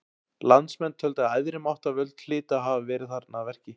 Landsmenn töldu að æðri máttarvöld hlytu að hafa verið þarna að verki.